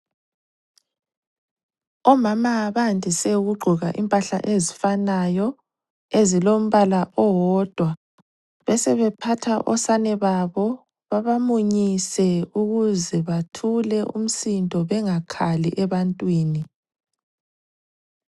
Omama bandise ukugqoka impahla ezifanayo, ezilombala owodwa. Besebephatha osane babo babamunyise ukuze bathule umsindo bengakhali ebantwini.